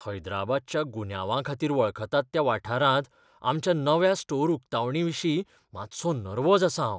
हैदराबादच्या गुन्यांवाखातीर वळखतात त्या वाठारांत आमच्या नव्या स्टोर उकतावणाविशीं मातसो नेर्वोज आसां हांव.